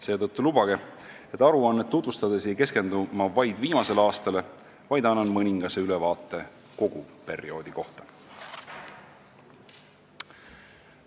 Seetõttu lubage mul aruannet tutvustades mitte vaid viimasele aastale keskenduda, vaid anda mõningane ülevaade kogu perioodi kohta.